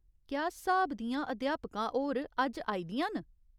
क्या स्हाब दियां अध्यापका होर अज्ज आई दियां न?